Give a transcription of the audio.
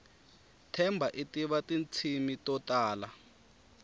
themba itiva tintshimi totala